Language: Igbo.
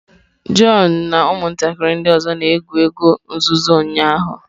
John na ụmụntakịrị ndị ọzọ na-egwu egwu nzuzo ụnyahụ.